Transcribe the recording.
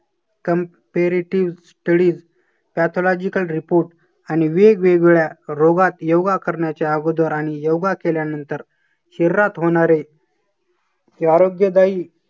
Comparative studies pathological report आणि वेगवेगळ्या रोगात योगा करण्याच्या अगोदर आणि योगा केल्यानंतर शरीरात होणारे हे आरोग्यदायी